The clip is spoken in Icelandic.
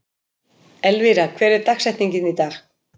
Elvira, hver er dagsetningin í dag?